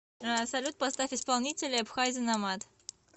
салют поставь исполнителя эбхай зэ номад